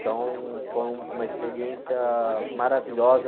Então, foi uma experiência maravilhosa.